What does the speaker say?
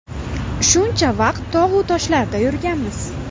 Shuncha vaqt tog‘-u toshlarda yurganmiz.